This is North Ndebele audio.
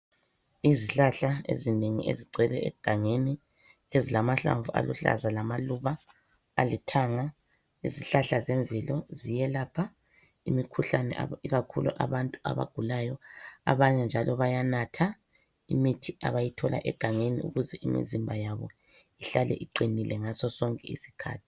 Izihlahla ezinengi ezigcwele egangeni, ezilamahlamvu aluhlaza lamaluba alithanga, izihlahla zemvelo ziyelapha imikhuhlane aba ikakhulu abantu abagulayo, abanye njalo bayanatha imithi abayithola egangeni, ukuze imizimba yabo ihlale iqinile ngaso sonke isikhathi.